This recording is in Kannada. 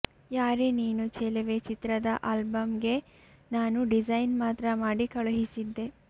ಯಾರೇ ನೀನು ಚೆಲುವೆ ಚಿತ್ರದ ಆಲ್ಬಂಗೆ ನಾನು ಡಿಸೈನ್ ಮಾತ್ರ ಮಾಡಿ ಕಳುಹಿಸಿದ್ದೆ